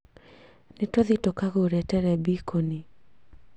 Nĩ tũthiĩ tũkagũre terebiconi